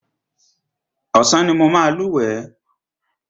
Ọ̀sán ni mo máa lúwẹ̀ẹ́.